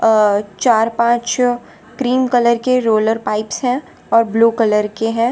और चार पांच क्रीम कलर के रोलर पाइप्स हैं और ब्लू कलर के है।